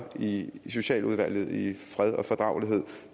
i socialudvalget i fred og fordragelighed